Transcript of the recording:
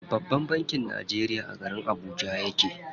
Babban bankin Najeriya a garin Abuja yake.